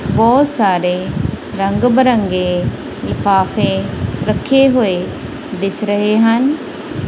ਬੋਹਤ ਸਾਰੇ ਰੰਗ ਬਿਰੰਗੇ ਲਿਫਾਫੇ ਰੱਖੇ ਹੋਏ ਦਿੱਸ ਰਹੇ ਹਨ।